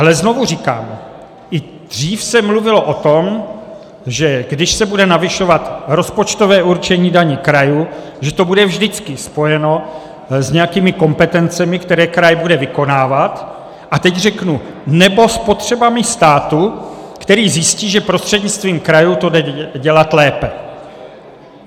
Ale znovu říkám, i dřív se mluvilo o tom, že když se bude navyšovat rozpočtové určení daní krajů, že to bude vždycky spojeno s nějakými kompetencemi, které kraj bude vykonávat, a teď řeknu nebo s potřebami státu, který zjistí, že prostřednictvím krajů to jde dělat lépe.